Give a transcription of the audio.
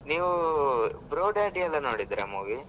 ನೀವು Bro Daddy ಎಲ್ಲ ನೋಡಿದ್ರ movie ?